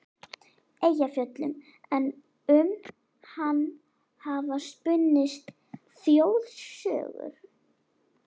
Eyjafjöllum, en um hann hafa spunnist þjóðsögur.